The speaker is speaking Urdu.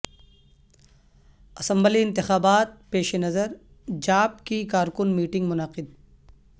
اسمبلی انتخاب پیش نظر جاپ کی کارکن میٹنگ منعقد